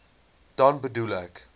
dan bedoel ek